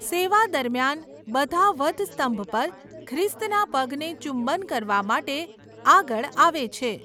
સેવા દરમિયાન, બધા વધસ્તંભ પર ખ્રિસ્તના પગને ચુંબન કરવા માટે આગળ આવે છે.